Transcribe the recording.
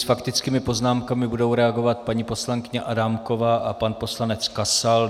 S faktickými poznámkami budou reagovat paní poslankyně Adámková a pan poslanec Kasal.